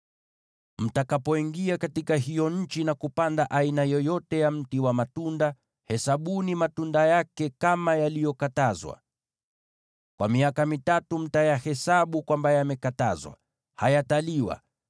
“ ‘Mtakapoingia katika hiyo nchi na kupanda aina yoyote ya mti wa matunda, hesabuni matunda yake kama yaliyokatazwa. Kwa miaka mitatu mtayahesabu kwamba yamekatazwa; hayaruhusiwi kuliwa.